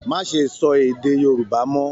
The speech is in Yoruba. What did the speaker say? Má ṣe sọ èdè Yorùbá mọ!